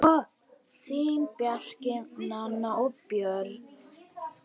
Þín, Bjarki, Nanna og Björn.